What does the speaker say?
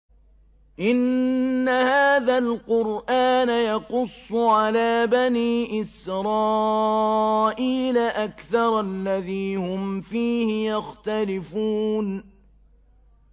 إِنَّ هَٰذَا الْقُرْآنَ يَقُصُّ عَلَىٰ بَنِي إِسْرَائِيلَ أَكْثَرَ الَّذِي هُمْ فِيهِ يَخْتَلِفُونَ